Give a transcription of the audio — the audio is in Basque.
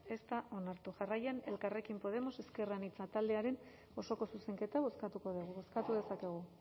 ez da onartu jarraian elkarrekin podemos ezker anitza taldearen osoko zuzenketa bozkatuko dugu bozkatu dezakegu